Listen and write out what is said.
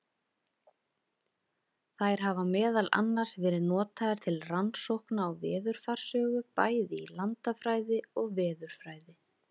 Þær hafa meðal annars verið notaðar til rannsókna á veðurfarssögu, bæði í landafræði og veðurfræði.